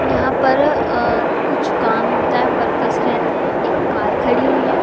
यहां पर अ कुछ काम होता है वर्कर्स रहते हैं एक कार खड़ी हुई है।